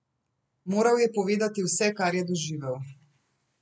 Moral ji je povedati vse, kar je doživel.